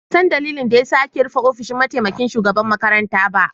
Ban san ɗalilin da ya sa ake rufe ofishin mataimaƙin shugaban makaranta ba.